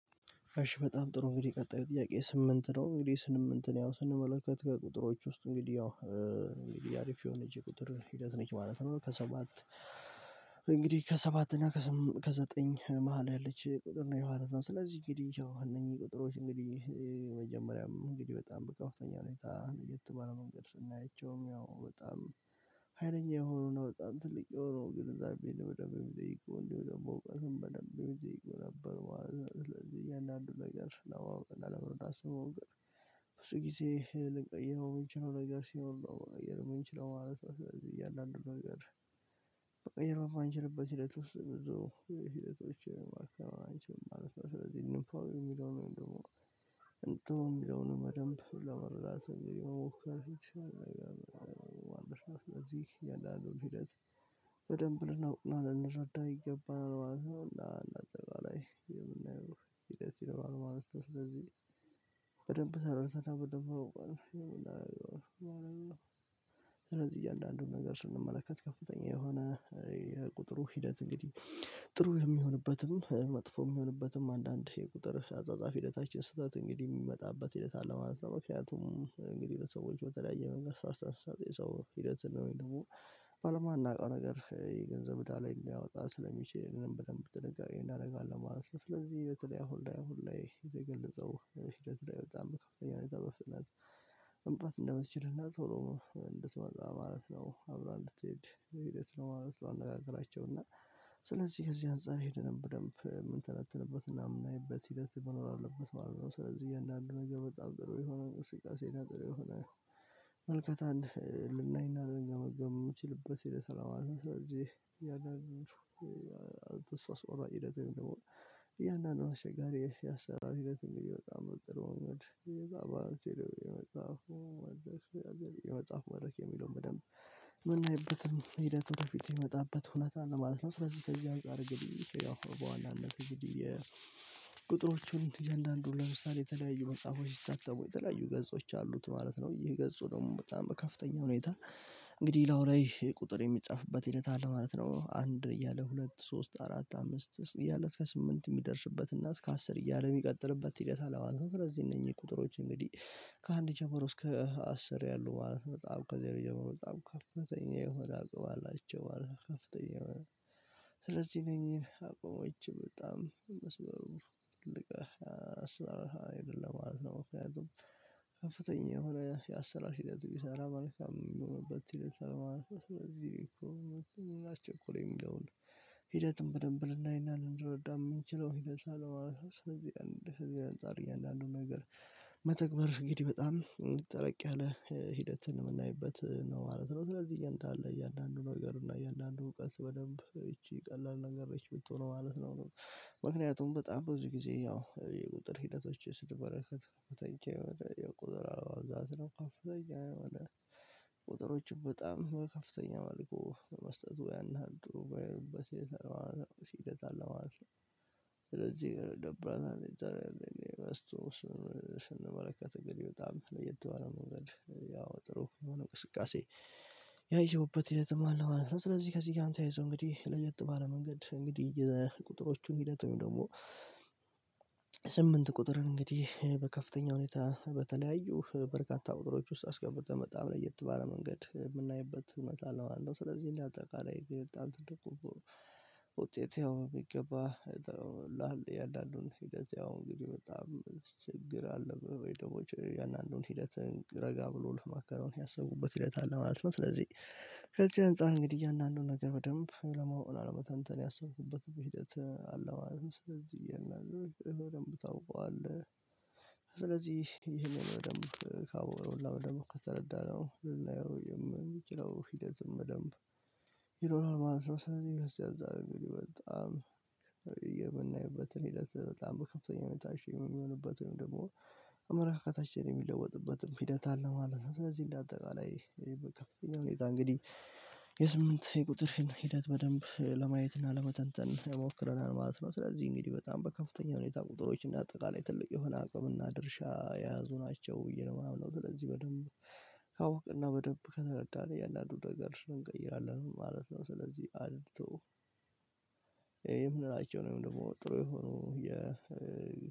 እሺ በጣም ጥሩ እንግዲህ ቀጣይ ጥያቄ ስምንት ነው እንግዲህ ስምንት ነው ያው ስንመለከት ከቁጥሮች ውስጥ እንግዲህ ያው እንግዲህ አሪፍ የሆነች ቁጥር ሂደት ነች ማለት ነው። ከሰባት እንግዲህ ከሰባት እና ከዘጠኝ መሃል ያለች ቁጥር ነው የሆነች ነው። ስለዚህ እንግዲህ ያው እነኚህ ቁጥሮች እንግዲህ መጀመሪያም እንግዲህ በጣም በፍተኛ ሁኔታ እንዴት ባለ መንገድ ስናይቸውም ያው በጣም ሀይለኛ የሆኑ ነው። በጣም ትልቅ የሆኑ ግን እዛ ቤት በደንብ የሚጠይቀው እንደው ደግሞ አሰውቀትን በደንብ የሚጠይቀው ነበር ማለት ነው። ስለዚህ እያንዳንዱን ነገር ለመረዳት ስሞክር ብዙ ጊዜ ልንቀይረው የምንችለው ነገር ሲኖር ነው የምንችለው ማለት ነው። ስለዚህ እያንዳንዱን ነገር መቀየር ማንችልበት ሂደት ውስጥ ብዙ ሂደቶች ማከናወን አንችልም ማለት ነው። ስለዚህ የሚለውን ደግሞ እንትን የሚለውን በደንብ ለመረዳት የመሞከር ፊት ነው። ስለዚህ እያንዳንዱን ሂደት በደንብ ልናውቅ ነው ልንረዳ ይገባናል ማለት ነው። እና እንደ አጠቃላይ የምናየው ሂደት ይሰራል ማለት ነው። ስለዚህ በደንብ ሰርተህ ይሆናል ማለት ነው። ስለዚህ እያንዳንዱን ነገር ስንመለከት ከፍተኛ የሆነ የቁጥሩ ሂደት እንግዲህ ጥሩ የሚሆንበትም መጥፎ የሚሆንበትም አንዳንድ የቁጥር አጻጻፊ ሂደታችን ስህተት እንግዲህ የሚመጣበት ሂደት አለ ማለት ነው። ምክንያቱም እንግዲህ ለሰዎች በተለያየ መንገድ አስተሳሰብ የሰው ሂደት ነው ወይም ደግሞ በማናውቀው ነገር የገንዘብ እዳ ላይ ሊያወጣ ስለሚችል ብለን በደንብ ጥንቃቄ እናደርጋለን ማለት ነው። ስለዚህ በተለይ አሁን ላይ አሁን ላይ የተገለጸው ሂደት ላይ በጣም በከፍተኛ ሁኔታ በፍጥነት መምጣት እንደምትችልና ቶሎ እንድትመጣ ማለት ነው አብራ እንድትሄድ ሂደት ነው ማለት ነው። አነጋገራቸው እና ስለዚህ ከዚህ አንፃር ሄደን በደንብ የምንተነትንበትና የምናይበት ሂደት መኖር አለበት ማለት ነው። ስለዚህ እያንዳንዱ ነገር በጣም ጥሩ የሆነ እንቅስቃሴ እና ጥሩ የሆነ ምልከታ ልናይና ልንገመገም የምንችልበት ሂደት ነው ማለት ነው። ስለዚህ እያንዳንዱ ተስፋ አስቆራጭ ሂደት የሚሆነው እያንዳንዱ አስቸጋሪ የአሰራር ሂደት እንዲህ በጣም በቅርብ መንገድ እንደ አብዛኖቹ ደግሞ የመጣሁ አደጋ የመጽሐፍ መግበያ የሚለውን በደንብ የምናይበትም ሂደቱ ወደፊት የሚመጣበት ሁኔታ አለ ማለት ነው። ነው ስለዚህ ከዚህ አንፃር እንግዲህ ያው በዋናነት እንግዲህ የቁጥሮቹን እያንዳንዱን ለምሳሌ የተለያዩ መጽሐፎች ሲታተሙ የተለያዩ ገጾች አሉት ማለት ነው ይህ ገጹ ደግሞ በጣም በከፍተኛ ሁኔታ እንግዲህ እላዩ ላይ ቁጥር የሚጻፍበት ሂደት አለ ማለት ነው። አንድ እያለ ሁለት ሶስት አራት አምስት እያለ እስከ ስምንት የሚደርስበት እና እስከ አስር እያለ የሚቀጥልበት ሂደት አለ ማለት ነው። ስለዚህ እነኚህ ቁጥሮች እንግዲህ ከአንድ ጀምሮ እስከ አስር ያሉ ማለት በጣም ከዜሮ ጀምሮ በጣም ከፍተኛ የሆነ አቅም አላቸው ማለት ነው። ከፍተኛ የሆነ ስለዚህ እነኚን አቋሞች በጣም መስበሩ ትልቅ የአሰራር ሀይል አለ ለማለት ነው። ምክንያቱም ከፍተኛ የሆነ የአሰራር ሂደት ቢሰራ መልካም የሚሆንበት ሂደት አለ ማለት ስለዚህ እኮ ምን አስቸኮለው የሚለውን ሂደትም በደንብ ልናይና ልንረዳ የምንችለው ሂደት አለ ማለት ነው። ስለዚህ አንድ ህዝብ አንፃር እያንዳንዱን ነገር መተግበር እንግዲህ በጣም እንድህ ጠለቅ ያለ ሂደትን የምናይበት ነው ማለት ነው። ስለዚህ እያንዳንዱ ነገር እና እያንዳንዱ እውቀት በደንብ ይቺ ቀላል ነገር ነች የምትሆነው ማለት ነው። ምክንያቱም በጣም ብዙ ጊዜ ያው የቁጥር ሂደቶችን ስንመለከት የሆነ የቁጥር አለመብዛት ነው። ከፍተኛ የሆነ ቁጥሮችን በጣም በከፍተኛ ማለቁ መስጠቱ ያን ያህል ጥሩ የማይሆንበት ሂደት አለው ማለት ነው። ስለዚህ ደብረን እንደዚህ አስቶ ስንመለከት እንግዲህ በጣም ለየት የሆነ መንገድ ያው ጥሩ የሆነ እንቅስቃሴ ያየሁበት የተሟላ ማለት ነው። ስለዚህ ከዚህ ጋር ተያይዞ እንግዲህ ለየት ባለ መንገድ እንግዲህ የቁጥሮቹን ሂደት ወይም ደግሞ ቁጥርን እንግዲህ በከፍተኛ ሁኔታ በተለያዩ በርካታ ቁጥሮች ውስጥ አስገብቶ በጣም ለየት ባለ መንገድ የምናይበት ሁኔት አለ ማለት ነው። ስለዚህ እንደ አጠቃላይ ግን በጣም ትልቁ ውጤቱ ያው የሚገባ ነው። እና እንዳንዱን ሂደት ያው እንግዲህ በጣም ችግር አለ በደንቦች እያንዳንዱን ሂደት ረጋ ብሎ ለማከናወን ያሰብኩበት ሂደት አለ ማለት ነው። ስለዚህ ከዚህ አንፃር እንግዲህ እያንዳንዱን ነገር በደንብ ለማወቅ እና ለመተንተን ያሰብኩበት ሂደት አለ ማለት ነው። ስለዚህ ይሄን አድርገህ በደንብ ታውቀዋለህ ይሄንን ደግሞ ካወቅነው እና በደንብ ከተረዳነው ልናየው የምንችለው ሂደትም በደንብ ይኖራል ማለት ነው። ስለዚህ ከዚህ አንፃር እንግዲህ በጣም የምናይበትን ሂደት በጣም በከፍተኛ ሁኔታ አሪፍ የምሆንበትን ደግሞ አመለካከታችን የሚለወጥበትም ሂደት አለ ማለት ነው። ስለዚህ እንደ አጠቃላይ በከፍተኛ ሁኔታ እንግዲህ የስምንት የቁጥርህን ሂደት በደንብ ለማየት እና ለመተንተን ሞክረናል ማለት ነው። ስለዚህ እንግዲህ በጣም በከፍተኛ ሁኔታ ቁጥሮች እንደ አጠቃላይ ትልቅ የሆነ አቅም እና ድርሻ የያዙ ናቸው ብዬ ነው የማምነው። ስለዚህ በደንብ ካወቅንና በደንብ ከተረዳን እያንዳንዱን ነገር እንቀይራለን ማለት ነው። ስለዚህ አይቶ ይሄም ምን አይነት ወይም ደግሞ ጥሩ የሆኑ የ